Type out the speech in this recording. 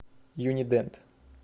юни дент